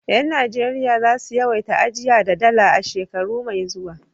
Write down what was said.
Yan Najeriya za su yawaita ajiya da Dala a shekara mai zuwa.